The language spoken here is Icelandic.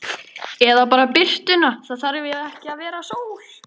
Eða bara birtuna, það þarf ekki að vera sól.